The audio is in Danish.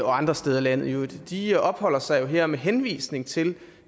og andre steder i landet i øvrigt de opholder sig jo her med henvisning til